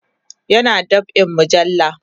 yana dab'in mujalla